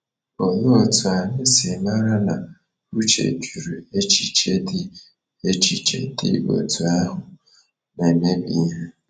Olee otú anyị si mara na Uche jụrụ echiche dị echiche dị otú ahụ na - emebi ihe?